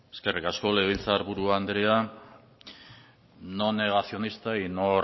eskerrik asko legebiltzar buru anderea no negacionista y no